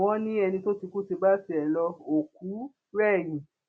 wọn ní ẹni tó ti kú ti bá tiẹ lo òkú rẹyìn